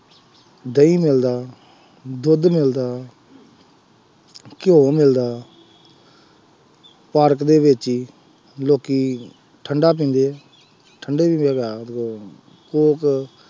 ਦਹੀਂ ਮਿਲਦਾ, ਦੁੱਧ ਮਿਲਦਾ, ਘਿਉ ਮਿਲਦਾ ਪਾਰਕ ਦੇ ਵਿੱਚ ਹੀ, ਲੋਕੀ ਠੰਡਾ ਪੀਂਦੇ ਹੈ, ਠੰਡੇ ਦੀ ਜਗ੍ਹਾ ਲੋਕ ਕੋਕ